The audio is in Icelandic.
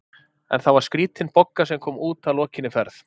En það var skrítin Bogga sem kom út að lokinni ferð.